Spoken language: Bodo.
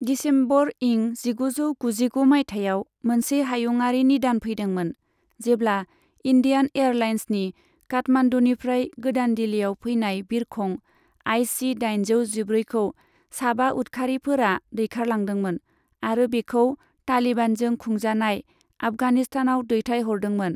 दिसेम्बर इं जिगुजौ गुजिगु माइथायाव मोनसे हायुंआरि निदान फैदोंमोन, जेब्ला इन्डियान एयारलाइन्सनि काठमान्डुनिफ्राय गोदान दिल्लीआव फैनाय बिरखं आईसी दाइनजौ जिब्रैखौ साबा उदखारिफोरा दैखारलांदोंमोन आरो बेखौ तालिबानजों खुंजानाय आफगानिस्तानाव दैथायहरदोंमोन।